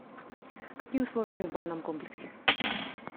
какие условия в банном комплексе